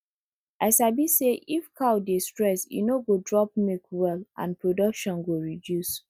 i sabi say if cow dey stress e no go drop milk well and production go reduce